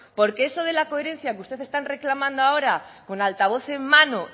porque eso de la coherencia que usted está reclamando ahora con altavoz en mano